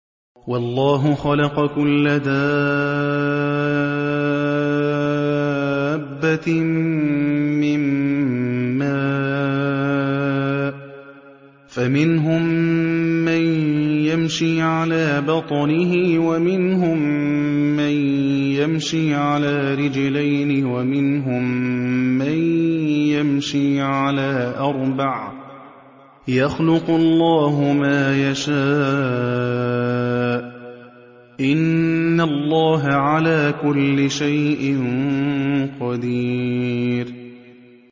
وَاللَّهُ خَلَقَ كُلَّ دَابَّةٍ مِّن مَّاءٍ ۖ فَمِنْهُم مَّن يَمْشِي عَلَىٰ بَطْنِهِ وَمِنْهُم مَّن يَمْشِي عَلَىٰ رِجْلَيْنِ وَمِنْهُم مَّن يَمْشِي عَلَىٰ أَرْبَعٍ ۚ يَخْلُقُ اللَّهُ مَا يَشَاءُ ۚ إِنَّ اللَّهَ عَلَىٰ كُلِّ شَيْءٍ قَدِيرٌ